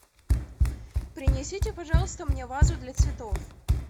принесите пожалуйста мне вазу для цветов